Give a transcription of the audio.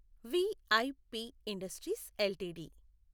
we I P industries LTD